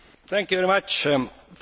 First of all buses.